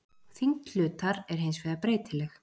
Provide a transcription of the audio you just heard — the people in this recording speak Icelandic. Þyngd hlutar er hins vegar breytileg.